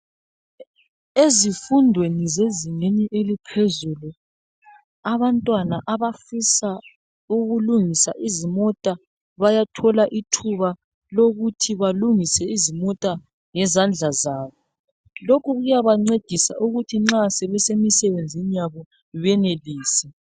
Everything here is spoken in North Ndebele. Ezifundweni zezingeni eliphezulu abantwana abafisa ukulungisa izimota bayathola ithuba lokuthi balungise izimota ngezandla zabo. Lokhu kuyabancedisa ukuthi nxa sebesemisebenzini yabo benelise.